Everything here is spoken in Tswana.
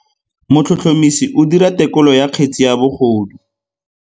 Motlhotlhomisi o dira têkolô ya kgetse ya bogodu.